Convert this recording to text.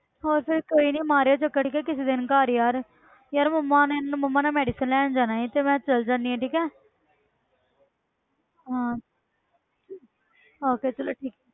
ਹੋਰ ਫਿਰ ਕੋਈ ਨੀ ਮਾਰਿਓ ਚੱਕਰ ਕਿ ਕਿਸੇ ਦਿਨ ਘਰ ਯਾਰ ਯਾਰ ਮੰਮਾ ਨੇ ਮੈਂ ਮੰਮਾ ਨਾਲ medicine ਲੈਣ ਜਾਣਾ ਸੀ ਤੇ ਮੈਂ ਚੱਲ ਜਾਂਦੀ ਹਾਂ ਠੀਕ ਹੈ ਹਾਂ ਆਹੋ ਫਿਰ ਚਲੋ ਠੀਕ